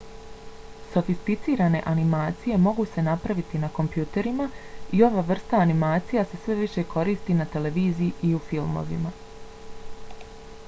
sofisticirane animacije mogu se napraviti na kompjuterima i ova vrsta animacija se sve više koristi na televiziji i u filmovima